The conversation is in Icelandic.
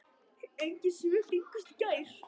Engin svör fengust í gær.